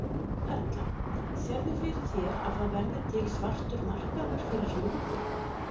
Erla: Sérðu fyrir þér að það verði til svartur markaður fyrir lúðu?